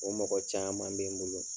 O mɔgɔ caaman be n bolo.